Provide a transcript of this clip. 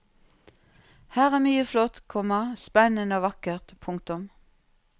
Her er mye flott, komma spennende og vakkert. punktum